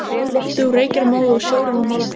Loftið úr reykjarmóðu og sjórinn úr málmi.